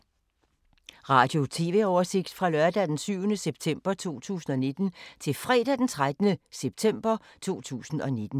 Radio/TV oversigt fra lørdag d. 7. september 2019 til fredag d. 13. september 2019